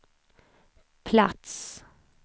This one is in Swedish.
plats